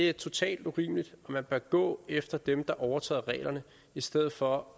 er totalt urimeligt vi bør gå efter dem der overtræder reglerne i stedet for